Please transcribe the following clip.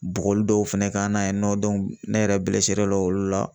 Bugɔli dɔw fana k'an na yen nɔ ne yɛrɛ olu la